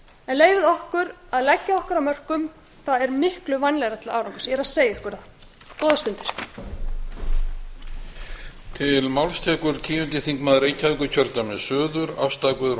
en leyfið okkur að leggja okkar af mörkum það er miklu vænlegra til árangurs ég er að segja ykkur það góðar stundir